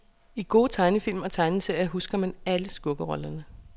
I gode tegnefilm og tegneserier husker man alle skurkerollerne.